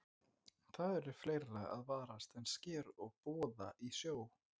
En það er fleira að varast en sker og boða í sjó.